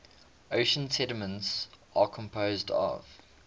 ocean sediments are composed of